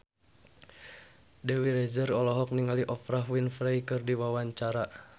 Dewi Rezer olohok ningali Oprah Winfrey keur diwawancara